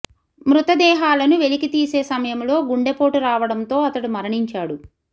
మృతదేహా లను వెలికి తీసే సమయంలో గుండెపో టు రావడంతో అతడు మరణించాడు